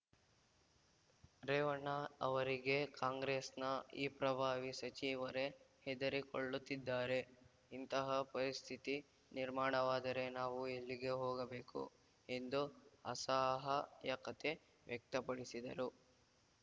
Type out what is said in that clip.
ರೇವಣ್ಣ ಅವರಿಗೆ ಕಾಂಗ್ರೆಸ್‌ನ ಈ ಪ್ರಭಾವಿ ಸಚಿವರೇ ಹೆದರಿಕೊಳ್ಳುತ್ತಿದ್ದಾರೆ ಇಂತಹ ಪರಿಸ್ಥಿತಿ ನಿರ್ಮಾಣವಾದರೆ ನಾವು ಎಲ್ಲಿಗೆ ಹೋಗಬೇಕು ಎಂದು ಅಸಹಾಯಕತೆ ವ್ಯಕ್ತಪಡಿಸಿದರು